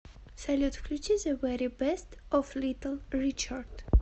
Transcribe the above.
салют включи зе вери бест оф литл ричард